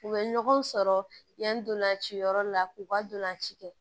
U bɛ ɲɔgɔn sɔrɔ yanni ntolanciyɔrɔ la k'u ka ntolanci kɛ